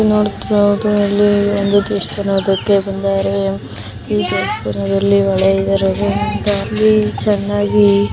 ಇಲ್ಲಿ ನೋಡುತ್ತಿರುವುದು ದೇವಸ್ಥಾನಕ್ಕೆ ಬಂದರೆ ಈ ದೇವಸ್ಥಾನದಲ್ಲಿ ಹೊಳೆ --